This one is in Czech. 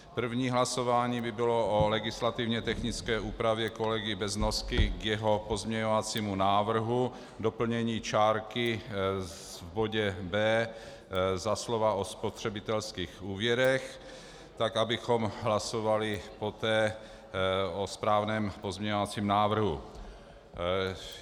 První hlasování by bylo o legislativně technické úpravě kolegy Beznosky k jeho pozměňovacímu návrhu, doplnění čárky v bodě B za slova "o spotřebitelských úvěrech", tak abychom hlasovali poté o správném pozměňovacím návrhu.